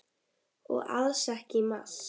Og alls ekki í mars.